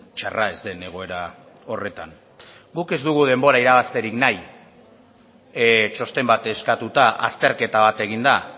txarra ez den egoera horretan guk ez dugu denbora irabazterik nahi txosten bat eskatuta azterketa bat eginda